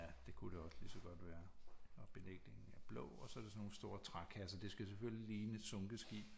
Ja det kunne det også ligeså godt være og belægningen er blå og så er det sådan nogle store trækasser det skal selvfølgelig ligne et sunket skib